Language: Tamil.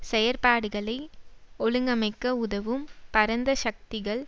செயற்பாடுகளை ஒழுங்கமைக்க உதவும் பரந்த சக்திகள்